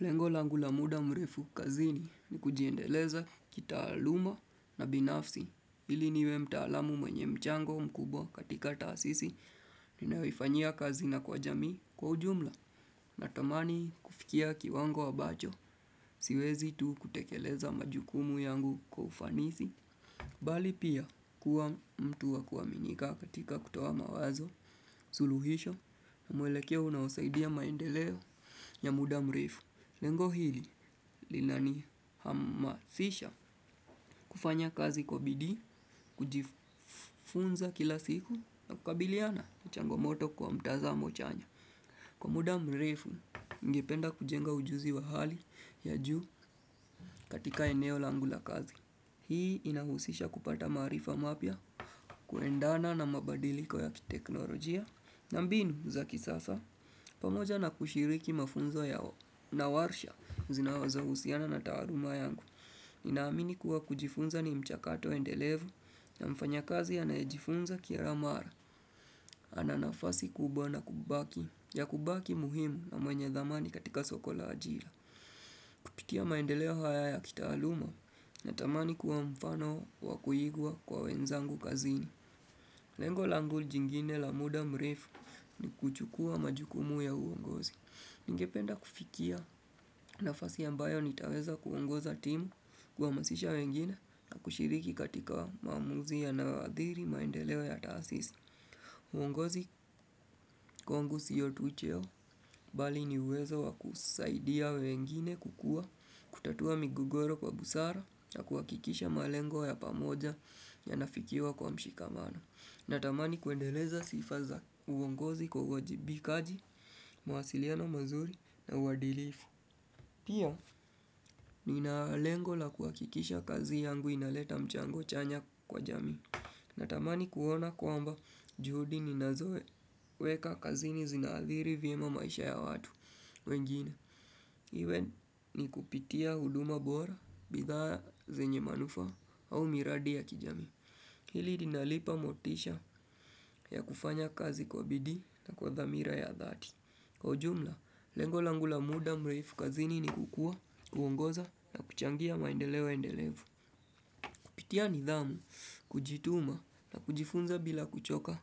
Lengo langu la muda mrefu kazini ni kujiendeleza kitaaluma na binafsi. Ili niwe mtaalamu mwenye mchango mkubwa katika taasisi. Ninayofanya kazi na kwa jamii kwa ujumla natamani kufikia kiwango ambacho. Siwezi tu kutekeleza majukumu yangu kwa ufanisi. Bali pia kuwa mtu wa kuaminika katika kutoa mawazo, suluhisho na mwelekeo unaosaidia maendeleo ya muda mrefu. Lengo hili linanihamasisha kufanya kazi kwa bidii, kujifunza kila siku na kukabiliana na changomoto kwa mtazamo chanya. Kwa muda mrefu ningependa kujenga ujuzi wa hali ya juu katika eneo langu la kazi. Hii inahusisha kupata maarifa mapya kuendana na mabadiliko ya teknolojia. Na mbinu za kisasa, pamoja na kushiriki mafunzo yao na warsha zinazo husiana na taaluma yangu. Ninaamini kuwa kujifunza ni mchakato endelevu na mfanyakazi anaejifunza kila mara. Ana nafasi kubwa na kubaki, ya kubaki muhimu na mwenye thamani katika soko la ajira. Kupitia maendeleo haya ya kitaaluma natamani kuwa mfano wa kuigwa kwa wenzangu kazini. Lengo langu jingine la muda mrefu ni kuchukua majukumu ya uongozi. Ningependa kufikia nafasi ambayo nitaweza kuongoza timu kwa kuhamasisha wengine na kushiriki katika maamuzi yanayoadhiri maendeleo ya taasisi. Uongozi kwangu sio tu cheo bali ni uwezo wa kusaidia wengine kukua kutatua migogoro kwa busara na kuhakikisha malengo ya pamoja yanafikiwa kwa mshikamano. Natamani kuendeleza sifa za uongozi kwa wajibikaji, mawasiliano mazuri na uadilifu. Pia, nina lengo la kuhakikisha kazi yangu inaleta mchango chanya kwa jamii. Natamani kuona kwamba juhudi ninazoweka kazi ni zinaathiri vyema maisha ya watu wengine. Iwe ni kupitia huduma bora, bidhaa zenye manufaa, au miradi ya kijamii. Hili linanipa motisha ya kufanya kazi kwa bidii na kwa dhamira ya dhati. Kwa ujumla, lengo langu la muda mrefu kazini ni kukua, kuongoza na kuchangia maendeleo endelevu. Kupitia nidhamu, kujituma na kujifunza bila kuchoka.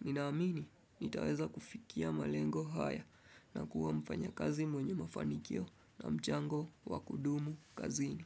Ninaamini, nitaweza kufikia malengo haya na kuwa mfanyakazi mwenye mafanikio na mchango wa kudumu kazini.